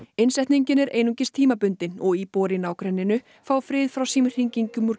innsetningin er einungis tímabundin og íbúar í nágrenninu fá frið frá símhringingum úr